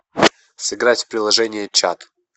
сыграть в приложение чат